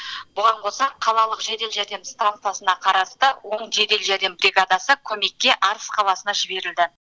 бұған қоса қалалық жедел жәрдем станциясына қарасты он жедел жәрдем жәрдем бригадасы көмекке арыс қаласына жіберілді